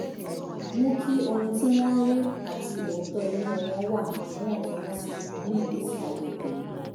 mú kí ohun tí wọ́n ń rí àti òótọ́ inú wọn wà níwọ̀ntúnwọ̀nsì nínú ìgbésí ayé tẹ̀mí